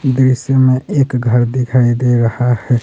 दृश्य में एक घर दिखाई दे रहा है।